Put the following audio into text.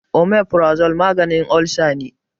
Omeprazole maganin olsa ne.